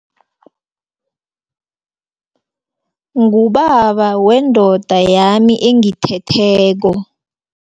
Ngubaba wendoda yami engithetheko.